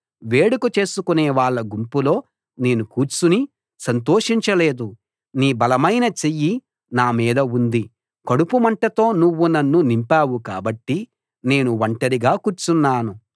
వేడుక చేసుకునే వాళ్ళ గుంపులో నేను కూర్చుని సంతోషించలేదు నీ బలమైన చెయ్యి నా మీద ఉంది కడుపుమంటతో నువ్వు నన్ను నింపావు కాబట్టి నేను ఒంటరిగా కూర్చున్నాను